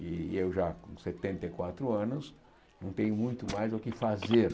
E e eu já com setenta e quatro anos não tenho muito mais o que fazer.